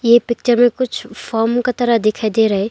ये पिक्चर में कुछ फॉर्म का तरह दिखाई दे रहा है।